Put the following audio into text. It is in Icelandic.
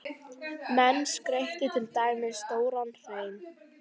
Menn skreyttu til dæmis stóran hrein.